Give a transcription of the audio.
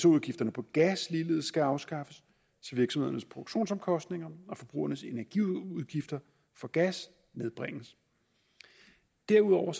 udgifterne på gas ligeledes skal afskaffes så virksomhedernes produktionsomkostninger og forbrugernes energiudgifter for gas nedbringes derudover